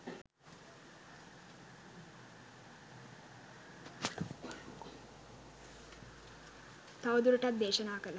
තවදුරටත් දේශනා කළහ.